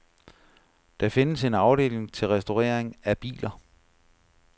Der findes en afdeling til restaurering af biler.